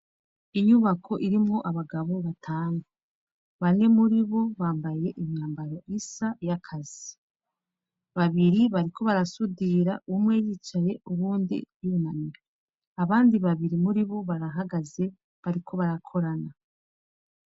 Inyubako irimwo abagabo batanu. Bane muribo bambaye imyambaro isa y'akazi. Babiri bariko barasudira; umwe yicaye uwundi yunamye. Abandi babiri muri bo barahagaze bariko barakorana.